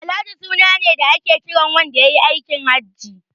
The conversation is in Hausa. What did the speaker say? Alhaji suna ne da ake kiran wanda yayi aikin Haji.